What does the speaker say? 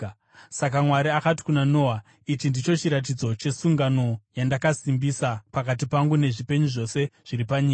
Saka Mwari akati kuna Noa, “Ichi ndicho chiratidzo chesungano yandakasimbisa pakati pangu nezvipenyu zvose zviri panyika.”